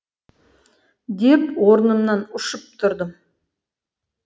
деп орнымнан ұшып тұрдым